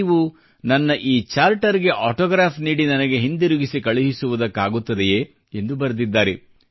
ನೀವು ನನ್ನ ಈ ಚಾರ್ಟರ್ಗೆ ಆಟೋಗ್ರಾಫ್ ನೀಡಿ ನನಗೆ ಹಿಂತಿರುಗಿ ಕಳುಹಿಸುವುದಕ್ಕಾಗುತ್ತದೆಯೇ ಎಂದು ಬರೆದಿದ್ದಾರೆ